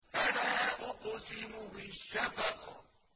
فَلَا أُقْسِمُ بِالشَّفَقِ